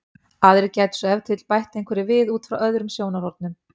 aðrir gætu svo ef til vill bætt einhverju við út frá öðrum sjónarhornum